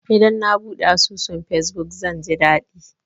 Idan na buɗe asusun fesbuk, zan ji daɗi.